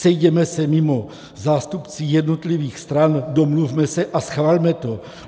Sejděme se mimo, zástupci jednotlivých stran, domluvme se a schvalme to.